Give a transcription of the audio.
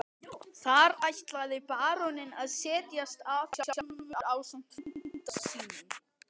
Þar ætlaði baróninn að setjast að sjálfur ásamt frænda sínum.